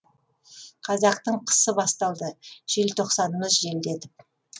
қазақтың қысы басталды желтоқсанымыз желдетіп